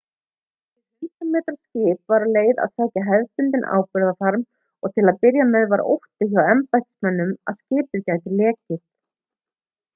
hið 100 metra skip var á leið að sækja hefðbundinn áburðarfarm og til að byrja var ótti hjá embættismönnum að skipið gæti lekið